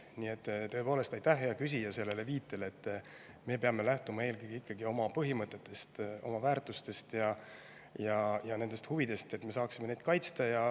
Nii et tõepoolest, aitäh, hea küsija, selle viite eest, et me peame lähtuma eelkõige ikkagi oma põhimõtetest, väärtustest ja huvidest, et me saaksime neid kaitsta.